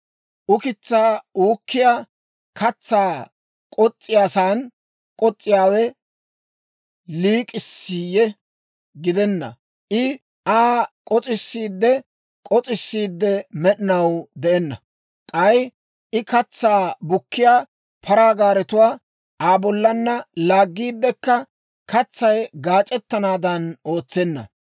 Ukitsaa uukkiyaa katsaa k'os's'iyaasan k'os's'iyaawe liik'issiiyye? Giddenna, I Aa k'os's'iidde k'os's'iidde, med'inaw de'enna. K'ay I katsaa bukkiyaa paraa gaaretuwaa Aa bollaanna laaggiiddekka katsay gaac'ettanaadan ootsenna.